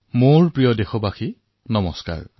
মোৰ মৰমৰ দেশবাসীসকল নমস্কাৰ